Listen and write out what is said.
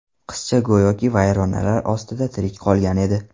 Qizcha go‘yoki vayronalar ostida tirik qolgan edi.